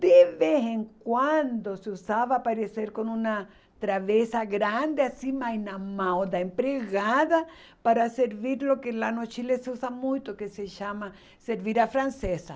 De vez em quando se usava aparecer com uma travessa grande acima e na mão da empregada para servir o que lá no Chile se usa muito, que se chama servir a francesa.